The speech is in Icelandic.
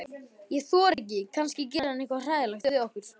Ég þori ekki, kannski gerir hann eitthvað hræðilegt við okkur.